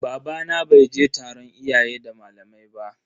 Babana bai je taron iyaye da malamai ba.